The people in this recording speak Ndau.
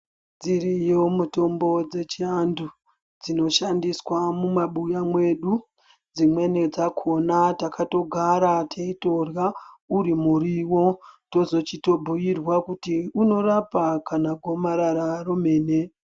Dziriyo mutombo dzechiantu dzinoshandiswa mumabuya mwedu, dzimweni dzakona takatogara teyitorya uri muriwo, tozochito zobhuyirwa kuti unorapa kana gomarara romene.